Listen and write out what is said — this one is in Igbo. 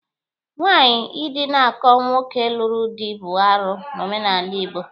Nwaanyị idinakọ nwoke lụrụ dị bụ arụ n'omenala Igbo.